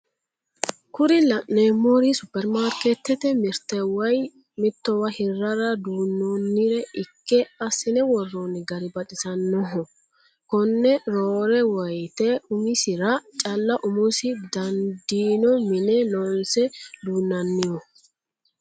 Kuri la'neemori supermarikeetete mirte woye mittowa hirrara duunoonnire ikke assine worronni gari baxisannoho konne roore woyiite umisira calla umosi dandiinno mine loonse duunnanniho